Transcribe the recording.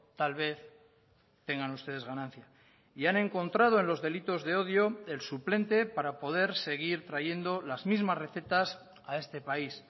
tal vez tengan ustedes ganancia y han encontrado en los delitos de odio el suplente para poder seguir trayendo las mismas recetas a este país